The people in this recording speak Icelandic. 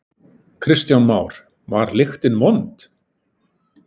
Kristján Már: Var lyktin vond?